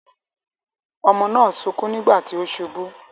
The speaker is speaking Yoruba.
Ọmọ náà sunkún nígbà tí ó subú.